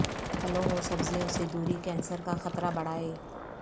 پھلوں و سبزیوں سے دوری کینسر کا خطرہ بڑھائے